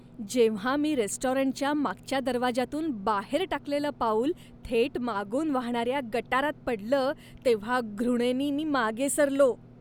जेव्हा मी रेस्टॉरंटच्या मागच्या दरवाजातून बाहेर टाकलेलं पाऊल थेट मागून वाहणाऱ्या गटारात पडलं तेव्हा घृणेनी मी मागे सरलो.